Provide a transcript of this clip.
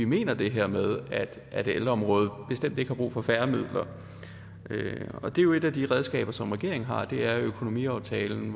mener det her med at ældreområdet bestemt ikke har brug for færre midler det er jo et af de redskaber som regeringen har at regeringen via økonomiaftalen